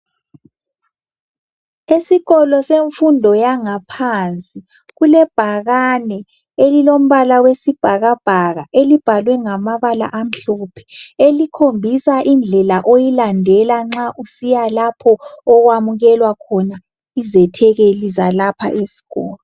Esikolo semfundo yangaphansi kulebhakane elilombala wesibhakabhaka elibhalwe ngamabala amhlophe. Elikhombisa indlela oyilandela nxa usiya lapho okwamukelwa izethekeli zalapha esikolo.